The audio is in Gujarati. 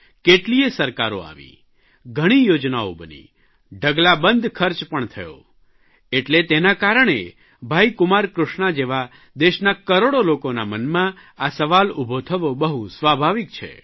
કેટલીયે સરકારો આવી ઘણી યોજનાઓ બની ઢગલાબંધ ખર્ચ પણ થયો એટલે તેના કારણે ભાઇ કુમારકૃષ્ણા જેવા દેશના કરોડો લોકોના મનમાં આ સવાલ ઉભો થવો બહુ સ્વાભાવિક છે